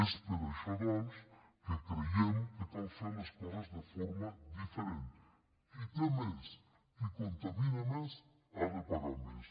és per això doncs que creiem que cal fer les coses de forma diferent qui té més qui contamina més ha de pagar més